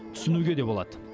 түсінуге де болады